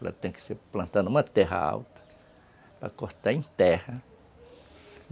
Ela tem que ser plantada numa terra alta, para cortar em terra.